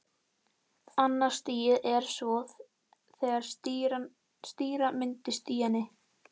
Annað stigið er svo þegar sýra myndast í henni.